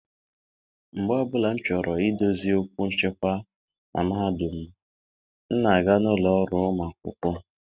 mgbe ọ bụla m chọrọ idozi okwu nchịkwa na mahadum m, m na-aga n'ụlọ ọrụ ụmụ akwụkwọ.